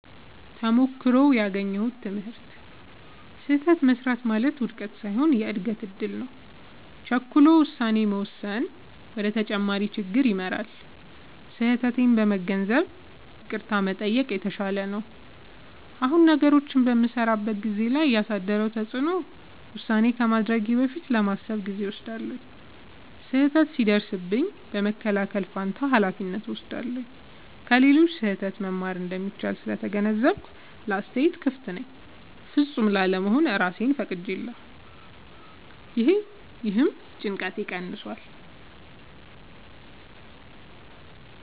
ተሞክሮው ያገኘሁት ትምህርት፦ · ስህተት መሥራት ማለት ውድቀት ሳይሆን የእድገት እድል ነው። · ቸኩሎ ውሳኔ መወሰን ወደ ተጨማሪ ችግር ይመራል። · ስህተቴን በመገንዘብ ይቅርታ መጠየቅ የተሻለ ነው። አሁን ነገሮችን በምሠራበት ሁኔታ ላይ ያሳደረው ተጽዕኖ፦ · ውሳኔ ከማድረጌ በፊት ለማሰብ ጊዜ እወስዳለሁ። · ስህተት ሲደርስብኝ በመከላከል ፋንታ ኃላፊነት እወስዳለሁ። · ከሌሎች ስህተት መማር እንደሚቻል ስለተገነዘብኩ ለአስተያየት ክፍት ነኝ። · ፍጹም ላለመሆን እራሴን ፈቅጄለታለሁ — ይህም ጭንቀቴን ቀንሷል።